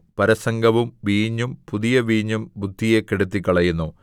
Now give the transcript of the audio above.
പരസംഗവും വീഞ്ഞും പുതിയ വീഞ്ഞും ബുദ്ധിയെ കെടുത്തിക്കളയുന്നു